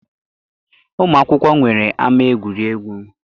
Ụmụkwụkwọ nwere ama egwuregwu.